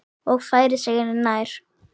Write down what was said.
Og færir sig nær.